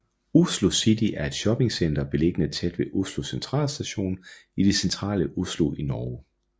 Oslo City er et shoppingcenter beliggende tæt ved Oslo Sentralstasjon i det centrale Oslo i Norge